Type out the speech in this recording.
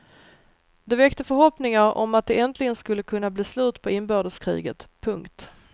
Det väckte förhoppningar om att det äntligen skulle kunna bli slut på inbördeskriget. punkt